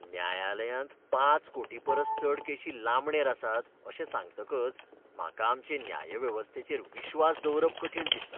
न्यायालयांत पांच कोटी परस चड केशी लांबणेर आसात अशें सांगतकच म्हाका आमचे न्याय वेवस्थेचेर विश्वास दवरप कठीण दिसता.